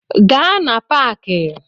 Gaa na Paaki!